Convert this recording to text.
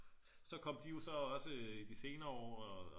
så kom de jo så også i de senere år